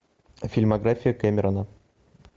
фильмография кэмерона